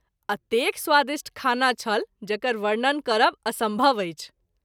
अतेक स्वादिष्ट खाना छल जकर वर्णन करब असंभव अछि।